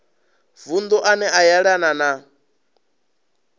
vunu ane a yelana na